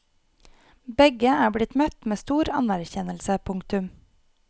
Begge er blitt møtt med stor anerkjennelse. punktum